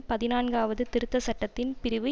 பதினான்காவது திருத்த சட்டத்தின் பிரிவு